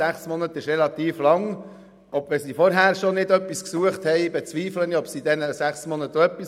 Sechs Monate sind relativ lang, und wenn sie nicht schon vorher Arbeit gesucht haben, bezweifle ich, dass sie es in diesen sechs Monaten tun.